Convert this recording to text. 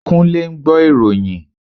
Kúnlé ń gbọ́ ìròyìn